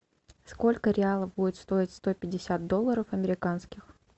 сколько реалов будет стоить сто пятьдесят долларов американских